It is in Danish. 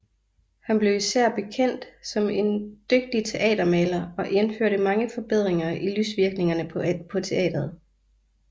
Han blev især bekendt som en dygtig teatermaler og indførte mange forbedringer i lysvirkningerne på teatret